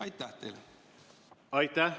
Aitäh!